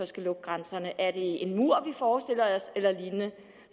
skal lukke grænserne er det en mur eller lignende